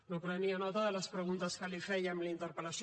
no prenia nota de les preguntes que li fèiem a la interpel·lació